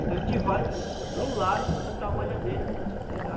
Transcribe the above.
Então a gente vai para o lago botar a malhadeira para a gente pegar.